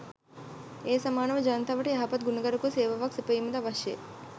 ඒ සමානව ජනතාවට යහපත් ගුණගරුක සේවාවක් සැපයීම ද අවශ්‍යය.